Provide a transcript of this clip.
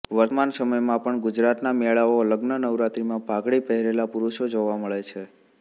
વર્તમાન સમયમાં પણ ગુજરાતના મેળાઓ લગ્ન નવરાત્રીમાં પાઘડી પહેરેલા પુરુષો જોવા મળે છે